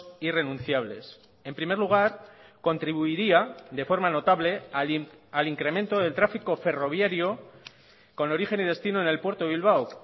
irrenunciables en primer lugar contribuiría de forma notable al incremento del tráfico ferroviario con origen y destino en el puerto de bilbao